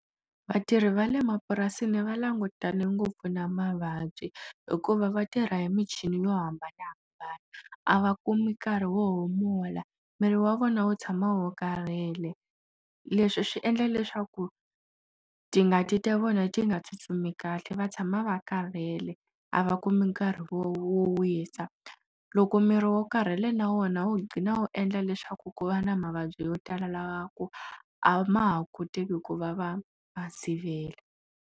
Vatirhi va le mapurasini va langutane ngopfu na mavabyi hikuva vatirha hi michini yo hambanahambana a va kumi nkarhi wo humula miri wa vona wo tshama wo karhele leswi swi endla leswaku tingati ta vona ti nga tsutsumi kahle va tshama va karhele a va kumi nkarhi wo wisa loko miri wo karhele na wona wo qina wo endla leswaku ku va na mavabyi yo tala lava ku a ma ha koteki ku va va va sivela.